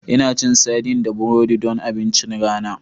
Ina cin sardines da burodi don abincin rana